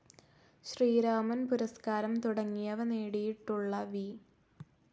ശ്രീരാമൻ പുരസ്കാരം തുടങ്ങിയവ നേടിയിട്ടുള്ള വി.